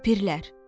Ləpirlər.